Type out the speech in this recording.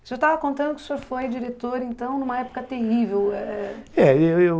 O senhor estava contando que o senhor foi diretor, então, numa época terrível. Eh eh. É, eu eu